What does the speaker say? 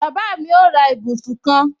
Bàbá mi ó ra ibùsùn kan